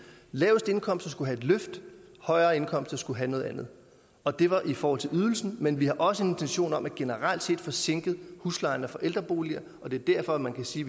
laveste indkomster skulle have et løft højere indkomster skulle have noget andet og det var i forhold til ydelsen men vi har også en intention om generelt set at få sænket huslejerne for ældreboliger og det er derfor man kan sige